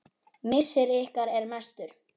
Missir ykkar er mestur.